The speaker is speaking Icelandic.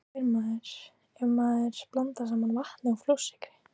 Hvað fær maður ef maður blandar saman vatni og flórsykri?